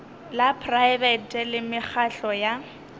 la praebete le mekgatlo ya